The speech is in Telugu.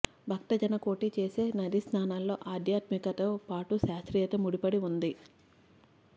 భక్త జనకోటి చేసే నదీ స్నానాల్లో ఆధ్యాత్మికత తో పాటు శాస్త్రీయత ముడిపడి ఉంది